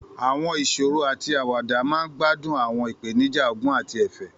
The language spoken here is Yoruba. Àwọn ìṣòro àti àwàdà máa ń gbádùn àwọn ìpèníjà ọgbọ́n àti ẹ̀fẹ̀.